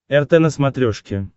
рт на смотрешке